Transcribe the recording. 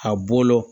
A bolo